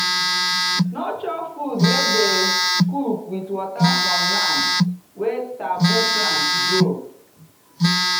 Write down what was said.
no chop food wey dem cook with water from land wey taboo plants grow.